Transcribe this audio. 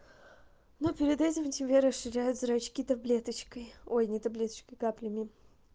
но перед этим тебе расширяют зрачки таблеточкой ой не таблеточкой каплями